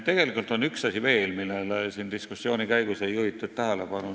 Tegelikult on üks asi veel, millele siin diskussiooni käigus tähelepanu ei juhitud.